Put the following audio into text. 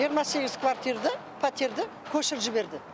жиырма сегіз пәтерді көшіріп жіберді